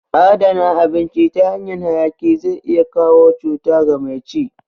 Adana abinci ta hanyan hayaki zai iya kawo cuta ga mai ci